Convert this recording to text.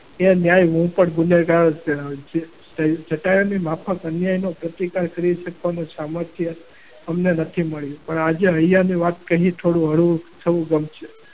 ચટાયુ ની માફક અન્યાયનો પ્રતિકાર કરી શકવાનું સામર્થ્ય અમને નથી મળ્યું. પણ આજે હૈયાની વાત કહી થોડું હળવું થવું ગમશે.